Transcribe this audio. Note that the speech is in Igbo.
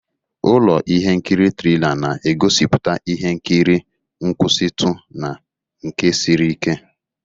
Ụlọ ihe nkiri trila na-egosipụta ihe nkiri nkwụsitu na nke siri ike.